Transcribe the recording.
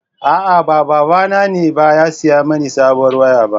A'a, ba babana ne ba ya saya mani sabuwar waya ba.